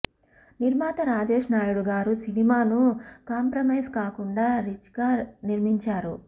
నిర్మాత రాజేష్ నాయుడు గారు సినిమాను కాంప్రమైజ్ కాకుండా రిచ్గా నిర్మించారు